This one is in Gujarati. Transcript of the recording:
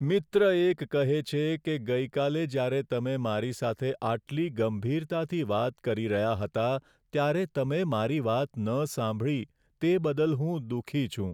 મિત્ર એક કહે છે કે ગઈકાલે જ્યારે તમે મારી સાથે આટલી ગંભીરતાથી વાત કરી રહ્યા હતા ત્યારે તમે મારી વાત ન સાંભળી તે બદલ હું દુઃખી છું. (મિત્ર 1)